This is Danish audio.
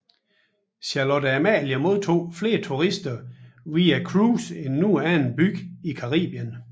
Charlotte Amalie modtager flere turister via cruise end nogen anden by i Karibien